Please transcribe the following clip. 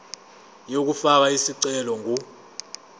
yokufaka isicelo ingu